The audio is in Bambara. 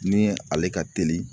Ni ale ka teli